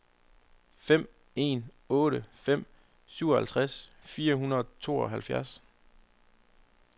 fem en otte fem syvoghalvtreds fire hundrede og tooghalvfjerds